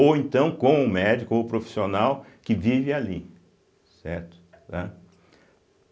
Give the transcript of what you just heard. Ou então com o médico ou profissional que vive ali, certo? tá